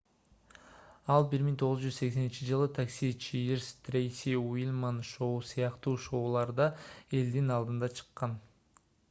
ал 1980-ж такси чиирс трейси ульман шоу сыяктуу шоуларда элдин алдына чыккан